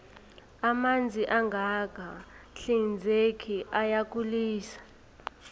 amanzi angaka hinzeki ayagulise